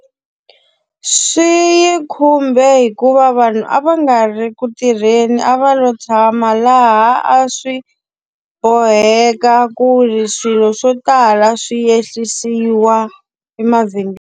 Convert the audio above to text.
Swi yi khumbe hikuva vanhu a va nga ri ku tirheni a va lo tshama laha a swi boheka ku ri swilo swo tala swi ehlisiwa .